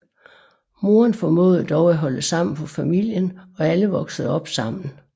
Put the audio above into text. Moderen formåede dog at holde sammen på familien og alle voksede op sammen